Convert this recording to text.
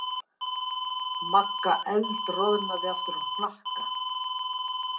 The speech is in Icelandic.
Magga eldroðnaði aftur á hnakka.